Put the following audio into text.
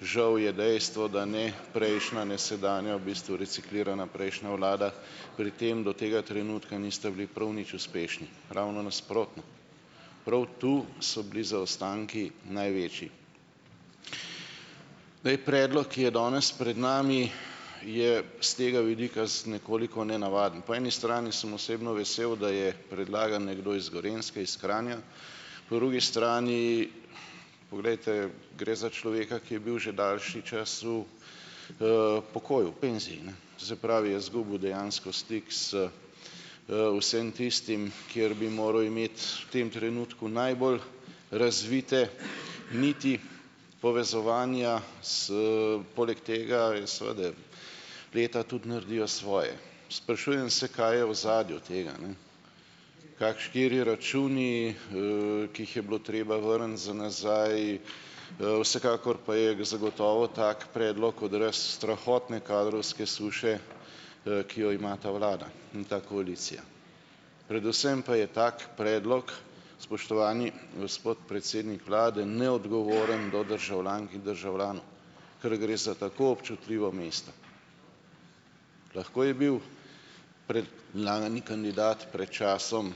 Žal je dejstvo, da ne prejšnja ne sedanja, v bistvu reciklirana prejšnja vlada pri tem do tega trenutka niste bili prav nič uspešni, ravno nasprotno. Prav to so bili zaostanki največji. Zdaj, predlog, ki je danes pred nami, je s tega vidika s nekoliko nenavaden. Po eni strani sem osebno vesel, da je predlagan nekdo iz Gorenjske, iz Kranja. Po drugi strani, glejte ... Gre za človeka, ki je bil že daljši čas v, pokoju, penziji, ne, to se pravi, je izgubil dejansko stik z, vsem tistim, kjer bi moral imeti v tem trenutku najbolj razvite niti povezovanja s ... Poleg tega seveda leta tudi naredijo svoje. Sprašujem se, kaj je v ozadju tega, ne? kateri računi, ki jih je bilo treba vrniti za nazaj, vsekakor pa je zagotovo tak predlog odraz strahotne kadrovske suše, ki jo ima ta vlada in ta koalicija. Predvsem pa je tak predlog, spoštovani gospod predsednik vlade, neodgovoren do državljank in državljanov, ker gre za tako občutljivo mesto. Lahko je bil predlani kandidat pred časom